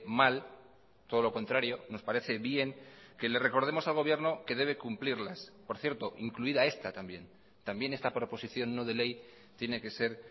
mal todo lo contrario nos parece bien que le recordemos al gobierno que debe cumplirlas por cierto incluida esta también también esta proposición no de ley tiene que ser